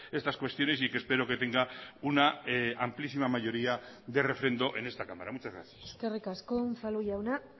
estas cuestiones y que espero que tenga una amplísima mayoría de refrendo en esta cámara muchas gracias eskerrik asko unzalu jauna